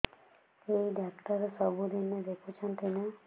ଏଇ ଡ଼ାକ୍ତର ସବୁଦିନେ ଦେଖୁଛନ୍ତି ନା